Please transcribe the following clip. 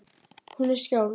Hún er skáld.